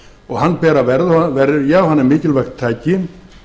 og hann ber að verja og hann er mikilvægt tæki